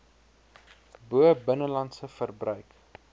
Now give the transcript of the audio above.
bo binnelandse verbruik